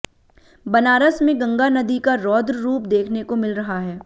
बनारस में गंगा नदी का रौद्र रूप देखने को मिल रहा है